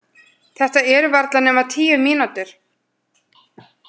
Þetta eru varla nema tíu mínútur.